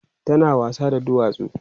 tana wasa da duwatsu